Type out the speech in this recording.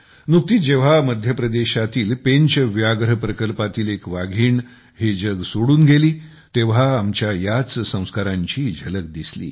नुकतीच जेव्हा मध्यप्रदेशातील पेंच व्याघ्र प्रकल्पातील एक वाघीण हे जग सोडून गेली तेव्हा आमच्या याच संस्कारांची झलक दिसली